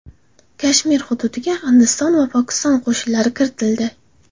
Kashmir hududiga Hindiston va Pokiston qo‘shinlari kiritildi.